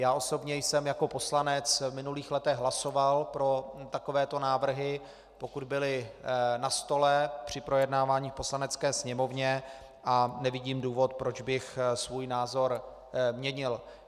Já osobně jsem jako poslanec v minulých letech hlasoval pro takovéto návrhy, pokud byly na stole při projednávání v Poslanecké sněmovně, a nevidím důvod, proč bych svůj názor měnil.